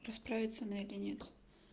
расправиться она или нет